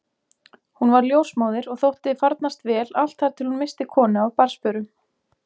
Hún varð ljósmóðir og þótti farnast vel allt þar til hún missti konu af barnsförum.